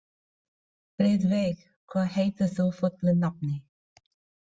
Friðveig, hvað heitir þú fullu nafni?